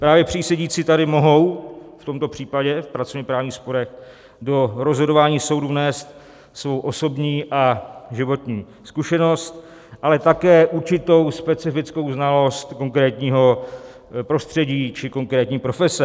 Právě přísedící tady mohou v tomto případě v pracovněprávních sporech do rozhodování soudů vnést svou osobní a životní zkušenost, ale také určitou specifickou znalost konkrétního prostředí či konkrétní profese.